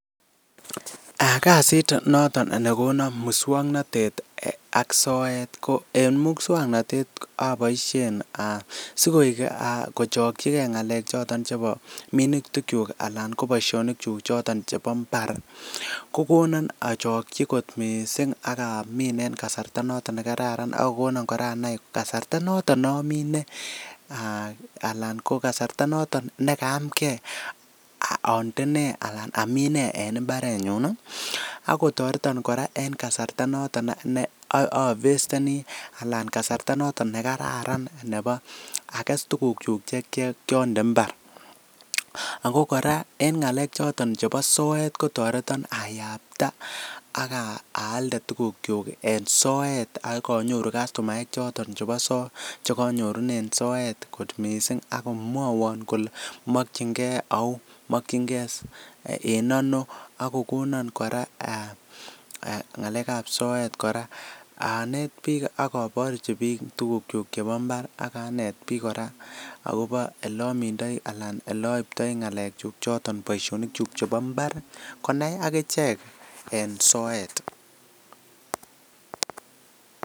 Kasit noton nekonan muswoknatet ak soet ko en muswoknatet aboisien sikochokyige ngalek choton chebo minutikyuk anan ko boisionik choton chebo imbar ko konan achokyi kot mising ak amin en kasarta noto nekararan ak kogogonan kora anai kasarta noton nomine ana kasarta noto nekayamnge ande ne anan amin ne en imbarenyun ak kotoreton kora en kasarta noton ne avesteni anan kasarta noto nekararan ages tugukyuk che kiande imbar. Ago kora eng ngalek choton chebo soet kotareton ayapta ak aalde tugukyuk en soet ak anyoru kastomaek choton chebo, chekanyorunen soet kot mising ak komwowon kole makyinge au, makyinge en ano, ak kogonan kora ngalek ab soet kora anet biik ak aborchi biik tugukyuk chebo imbar ak anet biik kora agobo olomindoi anan olaiptoi ngakekyuk choton boisionikyuk chebo imbar, konai ak ichek en soet.